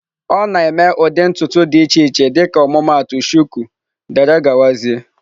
Ọ na-eme ụdị ntutu dị iche iche dịka ọmụmaatụ shuku wdg